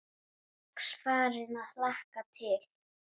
Strax farin að hlakka til.